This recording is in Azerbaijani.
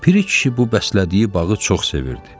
Piri kişi bu bəslədiyi bağı çox sevirdi.